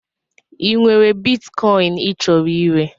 Ị nwere bitkọin ị chọrọ ire?